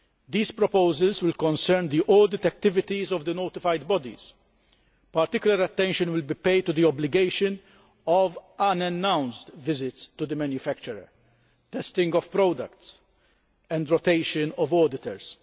These proposals will concern the audit activities of the Notified Bodies. Particular attention will be paid to the obligatory unannounced visits to the manufacturer, testing of products and rotation of auditors.